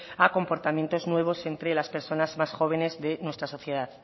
a comportamientos nuevos entre las personas más jóvenes de la sociedad